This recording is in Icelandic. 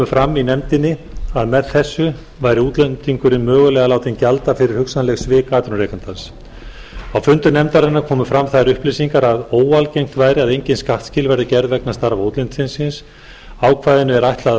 fram í nefndinni að með þessu væri útlendingurinn mögulega látinn gjalda fyrir hugsanleg svik atvinnurekandans á fundum nefndarinnar komu fram þær upplýsingar að óalgengt væri að engin skattskil væru gerð vegna starfa útlendings ákvæðinu er ætlað að